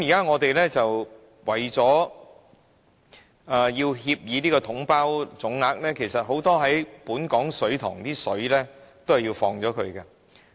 我們現在為了"統包總額"的協議，其實本港很多水塘的水需要排走。